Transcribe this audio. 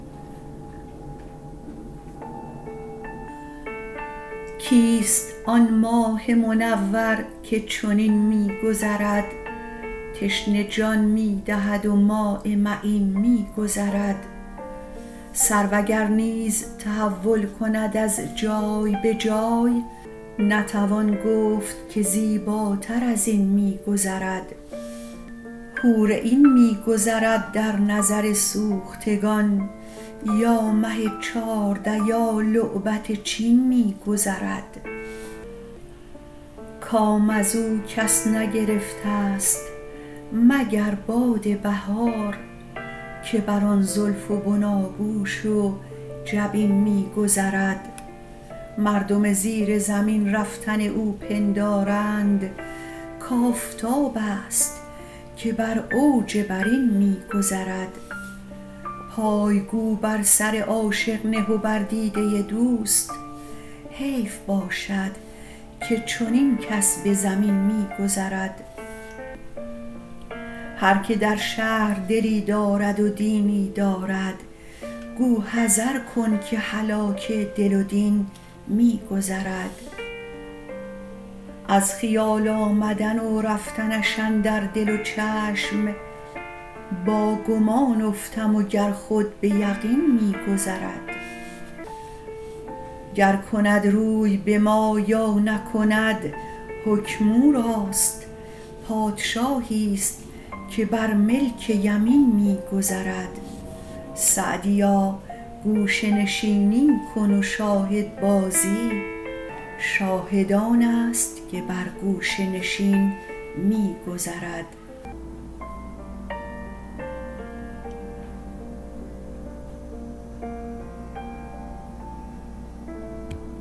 کیست آن ماه منور که چنین می گذرد تشنه جان می دهد و ماء معین می گذرد سرو اگر نیز تحول کند از جای به جای نتوان گفت که زیباتر از این می گذرد حور عین می گذرد در نظر سوختگان یا مه چارده یا لعبت چین می گذرد کام از او کس نگرفتست مگر باد بهار که بر آن زلف و بناگوش و جبین می گذرد مردم زیر زمین رفتن او پندارند کآفتابست که بر اوج برین می گذرد پای گو بر سر عاشق نه و بر دیده دوست حیف باشد که چنین کس به زمین می گذرد هر که در شهر دلی دارد و دینی دارد گو حذر کن که هلاک دل و دین می گذرد از خیال آمدن و رفتنش اندر دل و چشم با گمان افتم و گر خود به یقین می گذرد گر کند روی به ما یا نکند حکم او راست پادشاهیست که بر ملک یمین می گذرد سعدیا گوشه نشینی کن و شاهدبازی شاهد آنست که بر گوشه نشین می گذرد